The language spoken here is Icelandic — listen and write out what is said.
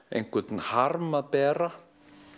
einhvern harm að bera